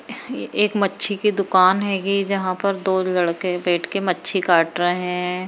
ये एक मच्छी की दुकान है ये यहां पर दो लड़के बैठ के मच्छी काट रहे हैं।